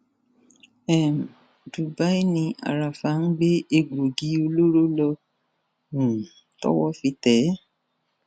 um dubai ni háráfà ń gbé egbòogi olóró lọ um tọwọ fi tẹ ẹ